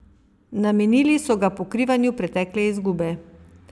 Namenili so ga pokrivanju pretekle izgube.